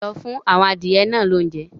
Lọ fún àwọn adìyẹ náà lóúnjẹ!